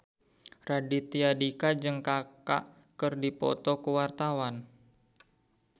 Raditya Dika jeung Kaka keur dipoto ku wartawan